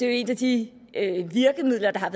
jo et af de virkemidler der har